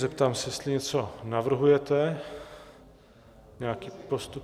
Zeptám se, jestli něco navrhujete, nějaký postup?